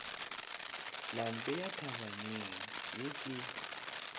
la mpea thabaneng ye ke